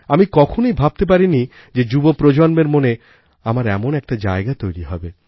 আমি কখনই ভাবতে পারিনি যে যুবপ্রজন্মের মনে আমার এমন একটা জায়গা তৈরি হবে